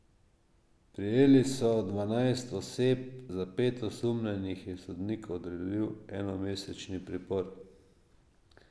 Prijeli so dvanajst oseb, za pet osumljenih je sodnik odredil enomesečni pripor.